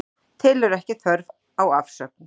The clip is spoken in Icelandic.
Telur ekki þörf á afsögn